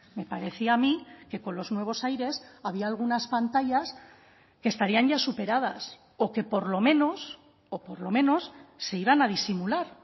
me parecía a mí que con los nuevos aires había algunas pantallas que estarían ya superadas o que por lo menos o por lo menos se iban a disimular